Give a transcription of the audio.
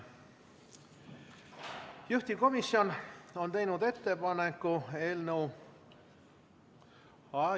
Juhtivkomisjon on teinud ettepaneku eelnõu ...